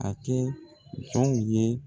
A kɛ jɔnw ye